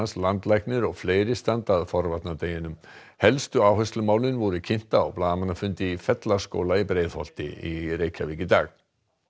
landlæknir og fleiri standa að helstu áherslumálin voru kynnt á blaðamannafundi í Fellaskóla í Breiðholti í dag